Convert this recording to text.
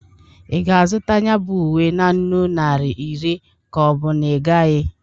Ị ga-azụ ya bụ uwe na nnụ naịra iri ka ọ bụ na ị gaghị?